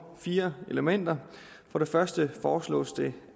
fire elementer for det første foreslås det